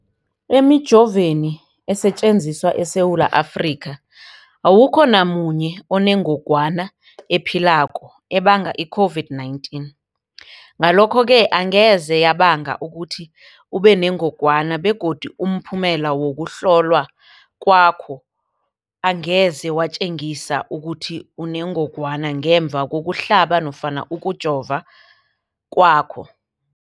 Emijoveni esetjenziswa eSewula Afrika, awukho namunye onengog wana ephilako ebanga i-COVID-19. Ngalokho-ke angeze yabanga ukuthi ubenengogwana begodu umphumela wokuhlolwan kwakho angeze watjengisa ukuthi unengogwana ngemva kokuhlaba nofana kokujova kwakho.